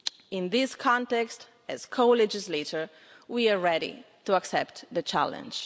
In this context, as co legislator, we are ready to accept the challenge.